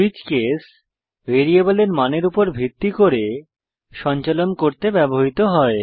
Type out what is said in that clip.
switch case ভ্যারিয়েবলের মানের উপর ভিত্তি করে সঞ্চালন করতে ব্যবহৃত হয়